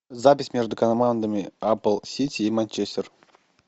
запись между командами апл сити и манчестер